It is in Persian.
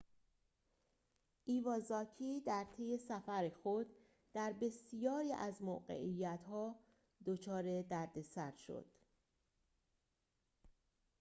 ایوازاکی در طی سفر خود در بسیاری از موقعیت‌ها دچار دردسر شد